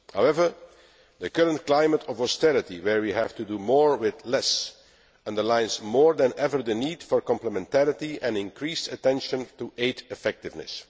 However, the current climate of austerity, where we have to do more with less, underlines more than ever the need for complementarity and increased attention to aid effectiveness.